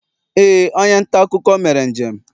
ee, onye nta akụkọ mere njem